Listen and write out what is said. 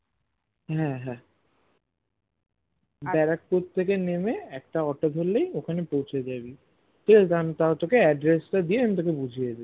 হ্যাঁ হ্যাঁ ব্যারাকপুর থেকে নেমে একটা auto ধরলেই ওখানে পৌছে যাবি ঠিকাছে আমি তাও তোকে address তা দিয়ে আমি তোকে বুঝিয়ে